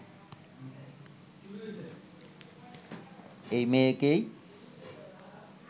এই মেয়েকেই